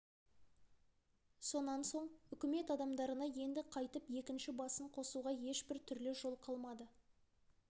сонан соң үкімет адамдарына енді қайтіп екінші басын қосуға ешбір түрлі жол қалмады